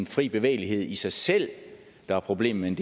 fri bevægelighed i sig selv der er problemet